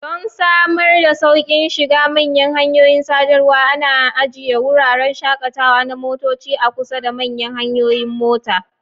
Don samar da sauƙin shiga manyan hanyoyin sadarwa, ana ajiye wuraren shakatawa na motoci a kusa da manyan hanyoyin mota.